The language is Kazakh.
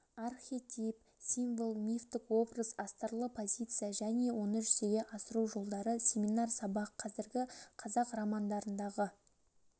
архетип символ мифтік образ астарлы позиция және оны жүзе асыру жолдары семинар сабақ қазіргі қазақ романдарындағы